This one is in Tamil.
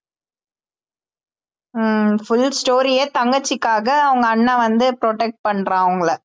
ஹம் full story யே தங்கச்சிக்காக அவங்க அண்ணன் வந்து protect பண்றான் அவங்கள